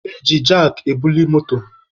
E ji jakị ebuli moto.